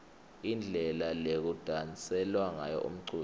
indlela lekudanselwa ngayo umculo